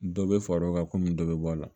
Dɔ bɛ fara o kan komi dɔ bɛ bɔ a la